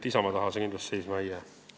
Isamaa taha see asi seisma ei jää.